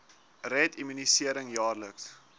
red immunisering jaarliks